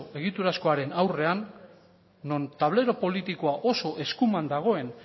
egiturazkoaren aurrean non tablero politikoa oso eskuman dagoen